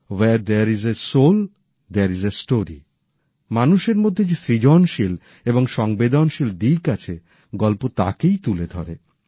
where there is a soul there is a story মানুষের মধ্যে যে সৃজনশীল এবং সংবেদনশীল দিক আছে গল্প তাকেই তুলে ধরে